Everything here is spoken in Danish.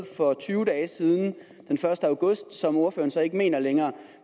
for tyve dage siden den første august som ordføreren så ikke mener længere